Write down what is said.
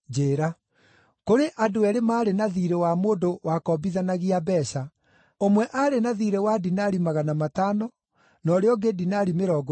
“Kũrĩ andũ eerĩ maarĩ na thiirĩ wa mũndũ wakombithanagia mbeeca. Ũmwe aarĩ na thiirĩ wa dinari magana matano, na ũrĩa ũngĩ dinari mĩrongo ĩtano.